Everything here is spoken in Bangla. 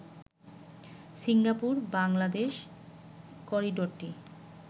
সিঙ্গাপুর-বাংলাদেশ করিডোরটি